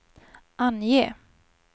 ange